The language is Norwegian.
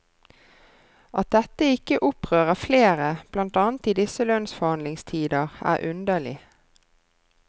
At dette ikke opprører flere, blant annet i disse lønnsforhandlingstider, er underlig.